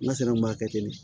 N ka sɛnɛ ma kɛ ten de